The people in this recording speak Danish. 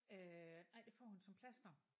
Øh nej det får hun som plaster